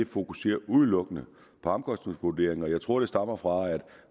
fokuserer udelukkende på omkostningsvurderinger jeg tror at det stammer fra at